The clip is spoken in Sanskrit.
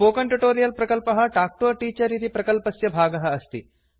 स्पोकन ट्युटोरियल प्रकल्पः टाक् टु अ टीचर इति प्रकल्पस्य भागः अस्ति